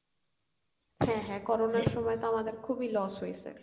হ্যাঁ হ্যাঁ Corona র সময়ে তো আমাদের খুবই loss হইসে